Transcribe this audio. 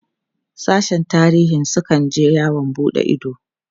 sashen tarihin su kan je yawon buɗe Ido